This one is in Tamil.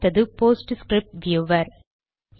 அடுத்தது போஸ்ட் ஸ்கிரிப்ட் வியூவர்